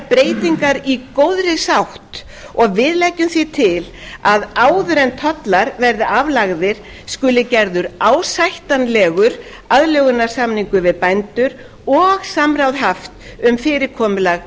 breytingar í góðri sátt og við leggjum því til að áður en tollar verði aflagðir skuli gerður ásættanlegur aðlögunarsamningur við bændur og samráð haft um fyrirkomulag